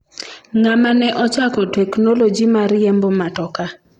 ng'ama ne ochako teknoloji mar riembo matoka